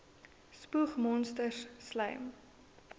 spoeg monsters slym